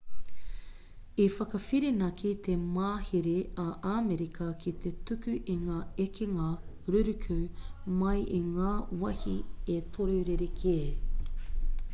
i whakawhirinaki te mahere a amerika ki te tuku i ngā ekenga ruruku mai i ngā wāhi e toru rerekē